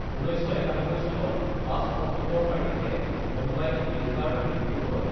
১৯৯১ চনৰ ৫ অক্টোবৰ তাৰিখে মুম্বাইত গোৱেঙ্কাৰ মৃত্যু হয়।